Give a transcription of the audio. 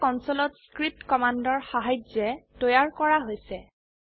সেইবোৰ কনসোলত স্ক্ৰিপ্ট কমান্ডৰ সাহায্যে তৈয়াৰ কৰা হৈছে